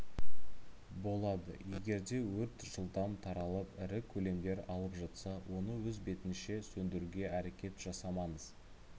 болады егерде өрт жылдам таралып ірі көлемдер алып жатса оны өз бетінше сөндіруге әрекет жасамаңыз